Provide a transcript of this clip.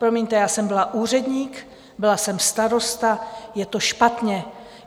Promiňte, já jsem byla úředník, byla jsem starosta - je to špatně.